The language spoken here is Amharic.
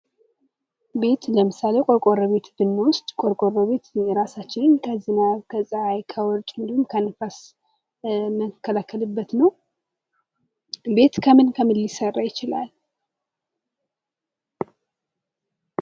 ቤት ለምሳሌ ቆርቆሮ ቤትን ብንወስድ ቆርቆሮ ቤት የራሳችን ከዝናብ፣ ከፀሐይ ፣ከውርጭ እንዲሁም ከንፋስ ምንከላከልበት ነው። ቤት ከምን ከምን ሊሰራ ይችላል?